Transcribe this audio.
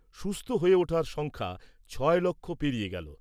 সুস্থ হয়ে ওঠার সংখ্যা ছয় লক্ষ পেরিয়ে গেলো ।